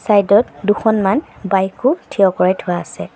Side ত দুখনমান bike ও থিয় কৰাই থোৱা আছে।